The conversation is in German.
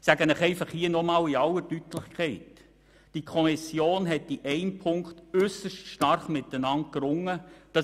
Ich sage Ihnen hier noch einmal in aller Deutlichkeit, dass die Kommissionsmitglieder in einem Punkt äusserst stark miteinander gerungen haben.